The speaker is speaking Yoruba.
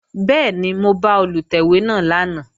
Bẹ́ẹ̀ni, mo bá Olùtẹ̀wé náà lánàá